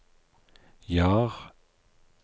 Jar